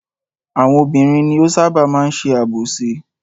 Àwọn obìnrin ni ó ṣábà máa ń ṣe àbòsí.